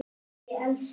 spurði Elsa.